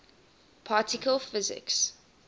particle physics